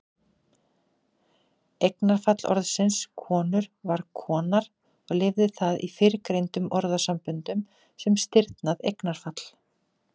Eignarfall orðsins konur var konar og lifir það í fyrrgreindum orðasamböndum sem stirðnað eignarfall.